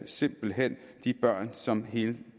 simpelt hen de børn som hele